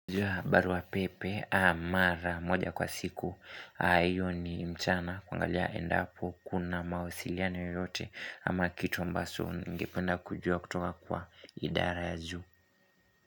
Barua pepe mara moja kwa siku hiyo ni mchana kuangalia enda hapo Kuna mawasiliano yoyote ama kitu ambazo ningependa kujua kutoka kwa idara ya juu.